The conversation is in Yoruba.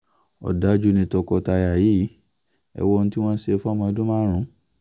ọ̀dájú ni tọkọ-tìyàwó yìí ò ẹ́ wo ohun tí wọ́n ṣe fọ́mọ ọdún márùn